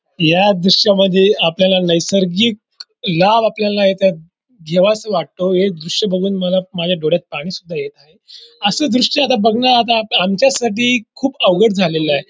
या दृश्यामध्ये आपल्याला नैसर्गिक लाभ आपल्याला इथे घ्यावासा वाटतो हे दृश्य बघून मला माझ्या डोळ्यात पाणी सुद्धा येत आहे. अस दृश्य आता बघणं आमच्यासाठी खूप अवघड झालेला आहे.